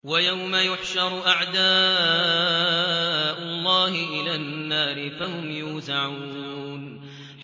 وَيَوْمَ يُحْشَرُ أَعْدَاءُ اللَّهِ إِلَى النَّارِ فَهُمْ يُوزَعُونَ